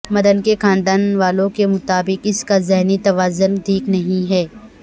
مدن کے خاندان والوں کے مطابق اس کا ذہنی توازن ٹھیک نہیں ہے